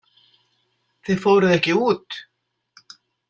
Þið fóruð ekki út?